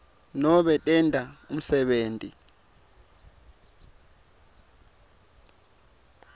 nobe tenta umsebenti